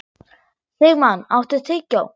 Sigmann, áttu tyggjó?